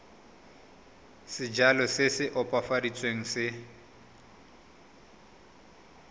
sejalo se se opafaditsweng se